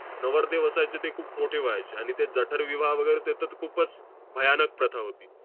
नवरदेव असायचे ते खूप मोठे व्हायचे. आणि ते जठरविवाह वगैरे ते तर खूपच भयानक प्रथा होती.